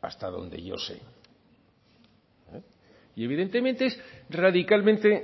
hasta donde yo sé y evidentemente es radicalmente